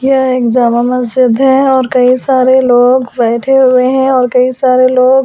यह एक जामा मस्जिद है और कई सारे लोग वैठे हुए हैं और कई सारे लोग ।